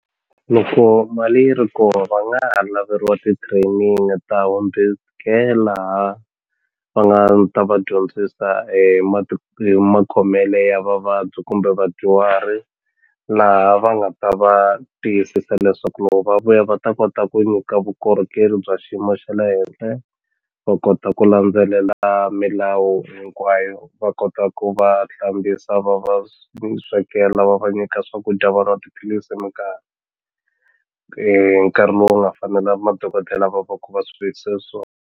Loko mali yi ri ko va nga ha laveliwa ti-training ta home-based care laha va nga ta va dyondzisa hi hi makhomele ya vavabyi kumbe vadyuhari laha va nga ta va tiyisisa leswaku loko va vuya va ta kota ku nyika vukorhokeri bya xiyimo xa le henhla va kota ku landzelela milawu hinkwayo va kota ku va hlambisa va va swekela va va nyika swakudya va nwa tiphilisi hi minkarhi hi nkarhi lowu nga fanela madokodela va va ku va swi vekise .